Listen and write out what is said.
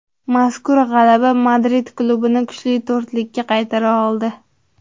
Mazkur g‘alaba Madrid klubini kuchli to‘rtlikka qaytara oldi.